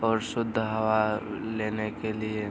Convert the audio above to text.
और शुद्ध हवा लेने के लिए --